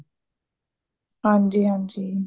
ਹਾਂਜੀ ਹਾਂਜੀ